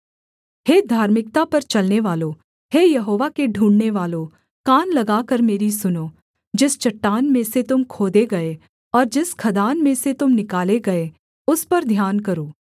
हे धार्मिकता पर चलनेवालों हे यहोवा के ढूँढ़ने वालों कान लगाकर मेरी सुनो जिस चट्टान में से तुम खोदे गए और जिस खदान में से तुम निकाले गए उस पर ध्यान करो